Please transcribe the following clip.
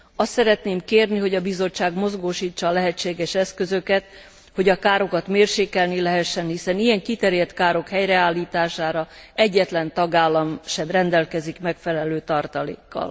Azt szeretném kérni, hogy a Bizottság mozgósítsa a lehetséges eszközöket, hogy a károkat mérsékelni lehessen, hiszen ilyen kiterjedt károk helyreállítására egyetlen tagállam sem rendelkezik megfelelő tartalékkal.